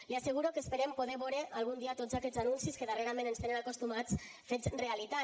li asseguro que esperem poder vore algun dia tots aquests anuncis que darrerament ens hi tenen acostumats fets realitat